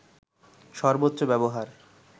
সর্বোচ্চ ব্যবহার